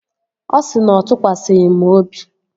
Ọ sị na ọ tụkwasịghị m obi